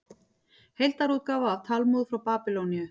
Heildarútgáfa af Talmúð frá Babýloníu.